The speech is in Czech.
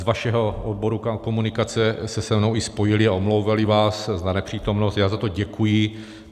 Z vašeho odboru komunikace se se mnou i spojili a omlouvali vás za nepřítomnost, já za to děkuji.